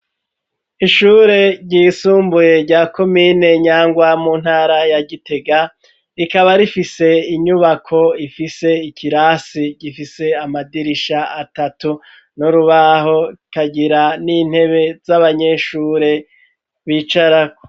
Ishure ryisumbuye rya komine Nyangwa mu ntara ya Gitega rikaba rifise inyubako ifise ikirasi gifise amadirisha atatu no rubaho ikagira n'intebe z'abanyeshure bicaraho